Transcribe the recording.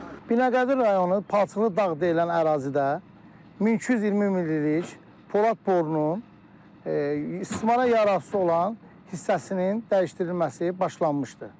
Binəqədi rayonu, Palçıqlı dağ deyilən ərazidə 1220 millilik polad borunun istismara yararsız olan hissəsinin dəyişdirilməsi başlanmışdı.